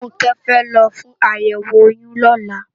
Funke fè lò fún àyèwó óyùn lòlá